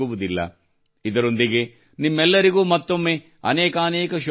ಇದರೊಂದಿಗೆ ನಿಮ್ಮೆಲ್ಲರಿಗೂ ಮತ್ತೊಮ್ಮೆ ಅನೇಕಾನೇಕ ಶುಭಹಾರೈಕೆಗಳು